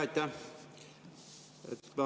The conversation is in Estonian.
Aitäh!